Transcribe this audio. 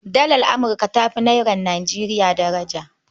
Dalar Amurka ta Nairar Nijeriya daraja.